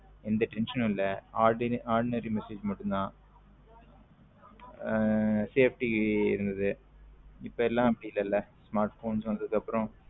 எந்த tension இல்ல ordinary message மட்டும் தான் ஹம் safety இருந்தது இப்போ எல்லாம் அப்பிடி இல்லைல smartphone வந்ததுக்கு அப்பரம்.